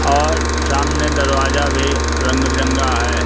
और सामने दरवाजा भी रंग बिरंगा है।